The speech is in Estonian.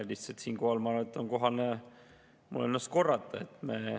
Lihtsalt siinkohal ma arvan, et mul on kohane ennast korrata.